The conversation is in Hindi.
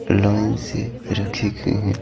लाइन से रखे गए हैं।